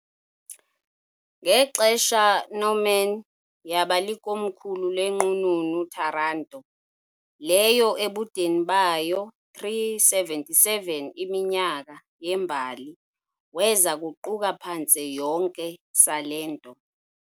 Ngexesha Norman, yaba likomkhulu leNqununu Taranto , leyo ebudeni bayo 377 iminyaka yembali weza kuquka phantse yonke Salento .